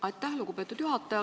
Aitäh, lugupeetud juhataja!